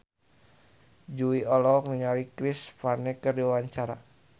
Jui olohok ningali Chris Pane keur diwawancara